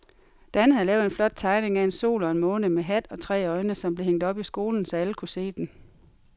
Dan havde lavet en flot tegning af en sol og en måne med hat og tre øjne, som blev hængt op i skolen, så alle kunne se den.